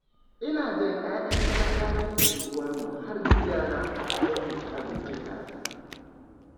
Ina jan 'ya'yan talakawan unguwarmu har gidana don mu ci abinci tare.